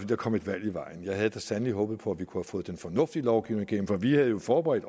der kom et valg i vejen jeg havde da sandelig håbet på at vi kunne have fået den fornuftige lovgivning igennem for vi havde jo forberedt